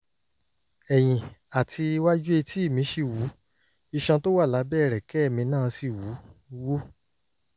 ẹ̀yìn àti iwájú etí mi ṣì wú iṣan tó wà lábẹ́ ẹ̀rẹ̀kẹ́ mi náà sì wú wú